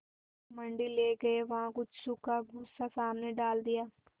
मंडी ले गये वहाँ कुछ सूखा भूसा सामने डाल दिया